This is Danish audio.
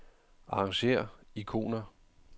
Arrangér ikoner.